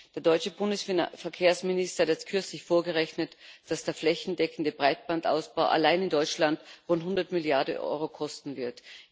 Der deutsche Bundesverkehrsminister hat erst kürzlich vorgerechnet, dass der flächendeckende Breitbandausbau allein in Deutschland rund 100 Mrd. EUR kosten wird.